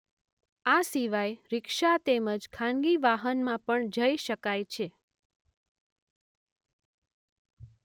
આ સિવાય રિક્ષા તેમજ ખાનગી વાહનમાં પણ જઈ શકાય છે.